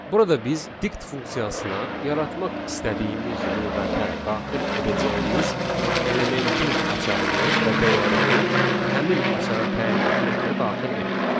Burada biz dict funksiyasına yaratmaq istədiyimiz lüğətə daxil edəcəyimiz elementin açarını və dəyərini həmin açara təyin etməklə daxil etdik.